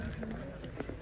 Hamısını çatdırdıq.